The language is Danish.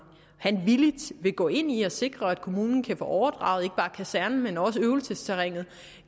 han villigt vil gå ind i at sikre at kommunen kan få overdraget ikke bare kasernen men også øvelsesterrænet